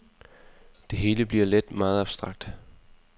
Det hele bliver let meget abstrakt.